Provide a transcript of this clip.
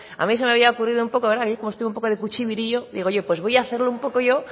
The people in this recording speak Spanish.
a mí se me había ocurrido un poco verdad ayer como estuve un poco de cuchibirillo pues voy a hacerlo un poco yo